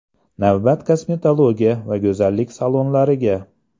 Navbat kosmetologiya va go‘zallik salonlariga .